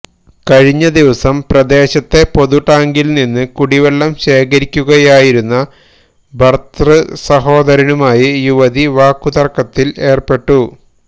കഴിഞ്ഞദിവസം പ്രദേശത്തെ പൊതുടാങ്കില്നിന്ന് കുടിവെള്ളം ശേഖരിക്കുകയായിരുന്ന ഭര്തൃസഹോദരനുമായി യുവതി വാക്കുതര്ക്കത്തില് ഏര്പ്പെട്ടു